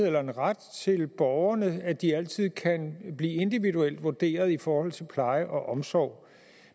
eller en ret til borgerne til at de altid kan blive individuelt vurderet i forhold til pleje og omsorg